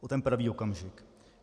O ten pravý okamžik.